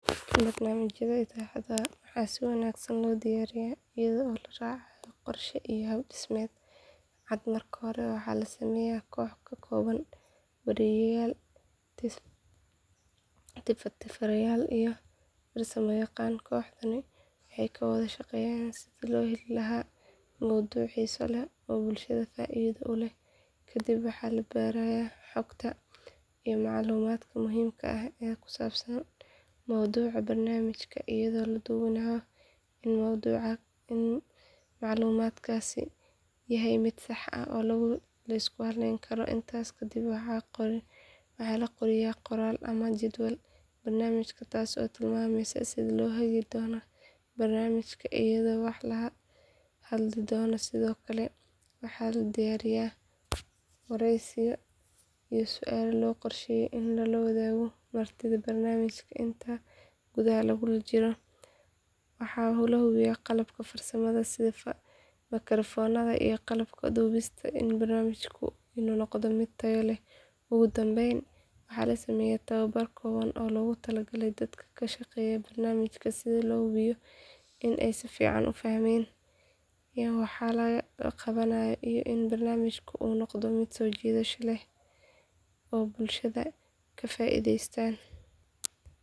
Barnaamijyada idaacadaha waxaa si wanaagsan loo diyaariyaa iyada oo la raacayo qorshe iyo hab dhismeed cad marka hore waxaa la sameeyaa koox ka kooban wariyeyaal tifaftirayaal iyo farsamayaqaano kooxdani waxay ka wada shaqeysaa sidii loo heli lahaa mowduucyo xiiso leh oo bulshada faa’iido u leh kadib waxaa la baarayaa xogta iyo macluumaadka muhiimka ah ee ku saabsan mowduuca barnaamijka iyadoo la hubinayo in macluumaadkaasi yahay mid sax ah oo la isku halleyn karo intaas kadib waxaa la qoriyaa qoraal ama jadwalka barnaamijka kaas oo tilmaamaya sida loo hagi doono barnaamijka iyo waxa la hadli doono sidoo kale waxaa la diyaariyaa waraysiyo iyo su’aalo loo qorsheeyay in lagu weydiiyo martida barnaamijka inta lagu guda jiro waxaa la hubiyaa qalabka farsamada sida makarafoonada iyo qalabka duubista si barnaamijku u noqdo mid tayo leh ugu dambayn waxaa la sameeyaa tababar kooban oo loogu talagalay dadka ka shaqeynaya barnaamijka si loo hubiyo in ay si fiican u fahmeen waxa la qabanayo iyo in barnaamijku uu noqdo mid soo jiidasho leh oo bulshada ka faa’iideysa.